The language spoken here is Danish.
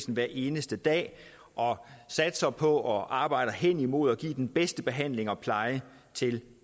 hver eneste dag og satser på og arbejder hen imod at give den bedste behandling og pleje til